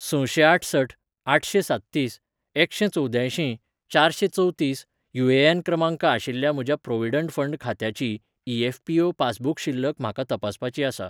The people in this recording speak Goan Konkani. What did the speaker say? सशेंआठसठ आठशेंसाततीस एकशेंचवद्यांयशीं चारशेंचवतीस यू.ए.एन. क्रमांक आशिल्ल्या म्हज्या प्रॉव्हिडंट फंड खात्याची ई.एफ.पी.ओ. पासबुक शिल्लक म्हाका तपासपाची आसा.